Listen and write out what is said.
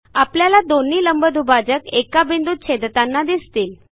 आपल्याला दोन्ही लंबदुभाजक एका बिंदूत छेदताना दिसतील